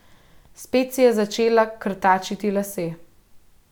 Spet si je začela krtačiti lase.